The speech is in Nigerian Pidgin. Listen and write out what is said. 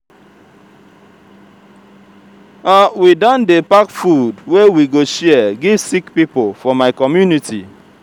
we don dey pack food wey we go share give sick pipo for my community.